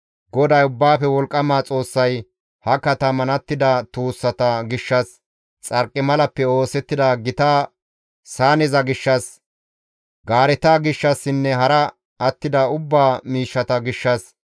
GODAY Ubbaafe Wolqqama Xoossay ha kataman attida tuussata gishshas, xarqimalappe oosettida gita saaneza gishshas, gaareta gishshassinne hara attida ubbaa miishshata gishshas,